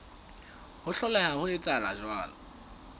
ho hloleha ho etsa jwalo